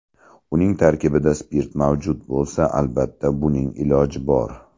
Uning tarkibida spirt mavjud bo‘lsa, albatta, buning iloji bor.